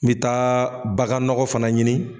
N bɛ taa bagan nɔgɔ fana ɲini